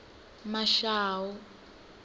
mashau